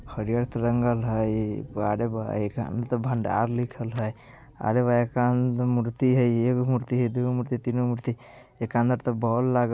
हरियर ते रंगल हई बाहर भाई एकरा अंदर त भंडार लिखल हई अरे भाई एकरा अंदर त हई एगो मूर्ति हई दुगो मूर्ति तीन गो मूर्ति एकरा अंदर त बॉल लागल --